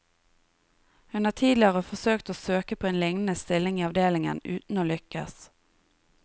Hun har tidligere forsøkt å søke på en lignende stilling i avdelingen, uten å lykkes.